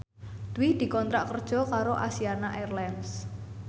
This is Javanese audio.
Dwi dikontrak kerja karo Asiana Airlines